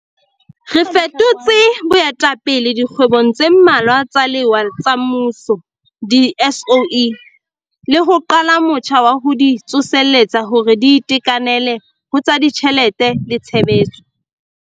Re fetotse boetapele dikgwebong tse mmalwa tsa lewa tsa mmuso di-SOE, le ho qala motjha wa ho di tsoseletsa hore di itekanele ho tsa ditjhelete le tshebetso.